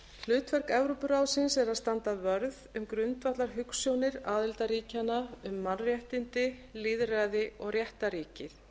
hlutverk evrópuráðsins er að standa vörð um grundvallarhugsjónir aðildarríkjanna um mannréttindi lýðræði og réttarríki